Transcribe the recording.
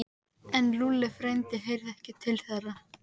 En Lúlli frændi heyrði ekki til þeirra.